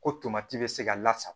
Ko tomati bɛ se ka lasa